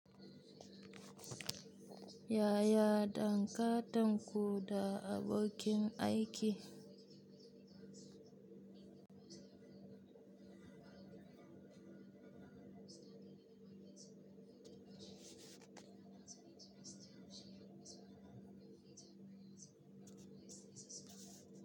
Yaya dangantanku da abokin aiki?